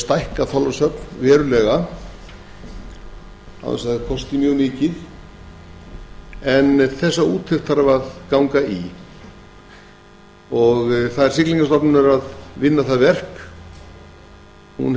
stækka þorlákshöfn verulega án þess að það kosti mjög mikið en þessa úttekt þarf að ganga í siglingastofnun á að vinna það verk og